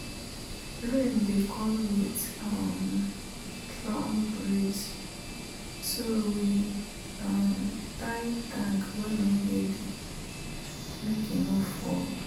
rain dey come with um strong breeze so we um tie tank wey no heavy make e no fall.